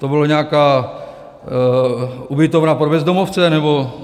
To byla nějaká ubytovna pro bezdomovce - nebo...?